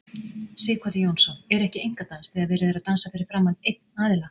Sighvatur Jónsson: Er ekki einkadans þegar verið er að dansa fyrir framan einn aðila?